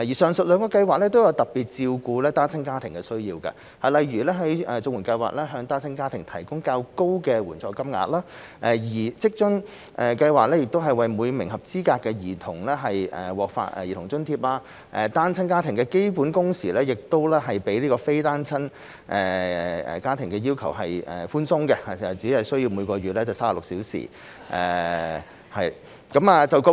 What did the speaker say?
上述兩項計劃均特別照顧單親家庭的需要，例如綜援計劃向單親家庭提供較高的援助金額，而職津計劃則為每名合資格兒童發放兒童津貼，單親家庭的基本工時要求亦比非單親家庭的要求寬鬆，只為每月36小時。